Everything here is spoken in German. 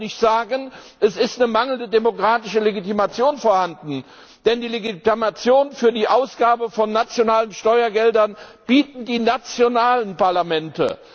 Man kann auch nicht sagen, es sei eine mangelnde demokratische Legitimation vorhanden, denn die Legitimation für die Ausgabe von nationalen Steuergeldern bieten die nationalen Parlamente.